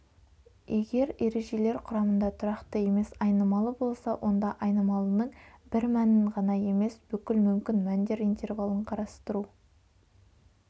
егер ережелер құрамында тұрақты емес айнымалы болса онда айнымалының бір мәнін ғана емес бүкіл мүмкін мәндер интервалын қарастыру